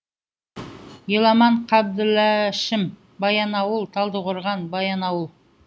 еламан қабділәшім баянауыл талдықорған баянауыл